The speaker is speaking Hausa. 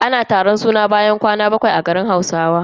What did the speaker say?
Ana taron suna ne bayan kwana bakwai da haihuwa a garin Hausa.